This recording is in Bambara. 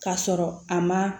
Ka sɔrɔ a ma